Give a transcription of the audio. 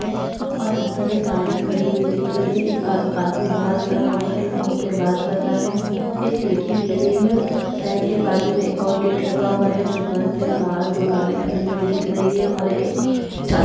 अंदर एक गाडी खड़ी हुई दिख रही है एक आ आदमी बाहर खड़ा होकर के फ़ोन पे बात कर रहा है एक खिड़की दिख रही है बैंक के बाजू में एक और गेट लगा हुआ है जो बंद है बाहर दो गाड़ी खड़ी हुई दिख रही है और एक चा साइकिल दिख रही हैं।